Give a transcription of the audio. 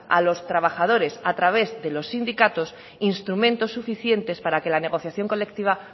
a los trabajadores a través de los sindicatos instrumentos suficientes para que la negociación colectiva